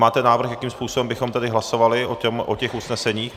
Máte návrh, jakým způsobem bychom tedy hlasovali o těch usneseních?